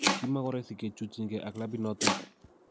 Kimakoroisi kechutyinge ak kilabinoton